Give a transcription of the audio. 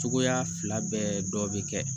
Cogoya fila bɛɛ dɔ bɛ kɛ